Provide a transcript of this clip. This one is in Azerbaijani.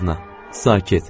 Sakit.